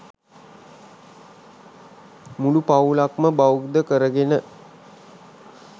මුළු පවුලක්ම බෞද්ධ කරගෙන